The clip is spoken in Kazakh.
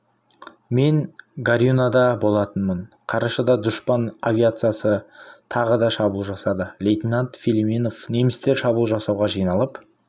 мен горюнада болатынмын қарашада дұшпан авиациясы тағы да шабуыл жасады лейтенант филимонов немістер шабуыл жасауға жиналып